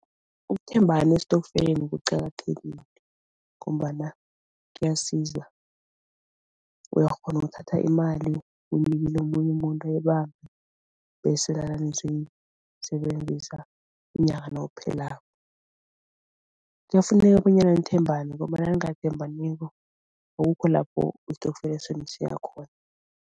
Ukuthembana esitofkeleni kuqakathekile ngombana kuyasiza, uyakghona ukuthatha imali uyinikele omunye umuntu ayibambe bese sebenzisa inyanga nayiphelako. Kuyafuneka bonyana nithembane ngombana nangithembaniko akukho lapho isitokfela senu siya khona.